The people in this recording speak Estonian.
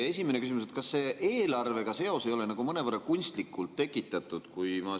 Esimene küsimus: kas seos eelarvega ei ole mõnevõrra kunstlikult tekitatud?